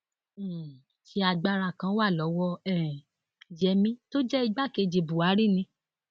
um ṣé agbára kan wà lọwọ um yẹmi tó jẹ igbákejì buhari ni